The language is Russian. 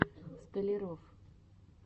столяров